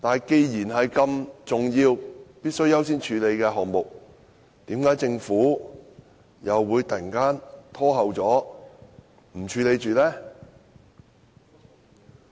既然這是必須優先處理的重要項目，為何政府又會突然延後處理呢？